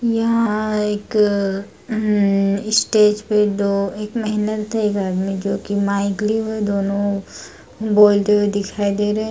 यहाँ एक अम स्टेज पे दो-एक महिला एक आदमी जो की माइक लिए हुए है दोनों बोलते हुए दिखाई दे रहें है।